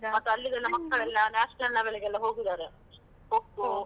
ಮತ್ತೆ ಅಲ್ಲಿದೆಲ್ಲಾ ಮಕ್ಕಳೆಲ್ಲಾ national level ಗೆಲ್ಲ ಹೋಗಿದಾರೆ ಕೊಕ್ಕೋ.